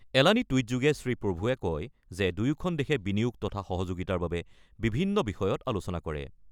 এলানি টুইট যোগে শ্ৰীপ্ৰভুৱে কয় যে দুয়োখন দেশে বিনিয়োগ তথা সহযোগিতাৰ বাবে বিভিন্ন বিষয়ত আলোচনা কৰে।